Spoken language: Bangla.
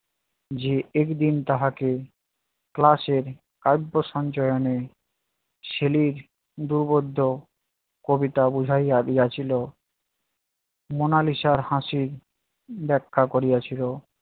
যে একদিন তাহাকে class এর আন্তঃসঞ্চয়নে সেলির উপবদ্ধ কবিতা বুঝাইয়া দিয়াছিল মোনালিসার হাসির ব্যাখ্যা করিয়াছিল